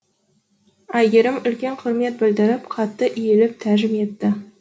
әйгерім үлкен құрмет білдіріп қатты иіліп тәжім етті